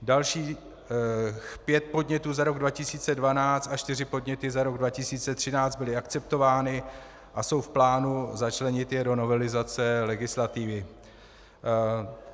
Dalších pět podnětů za rok 2012 a čtyři podněty za rok 2013 byly akceptovány a jsou v plánu začlenit je do novelizace legislativy.